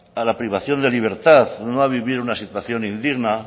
a la privación de libertad no a vivir una situación indigna